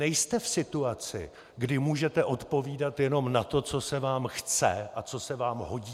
Nejste v situaci, kdy můžete odpovídat jenom na to, co se vám chce a co se vám hodí!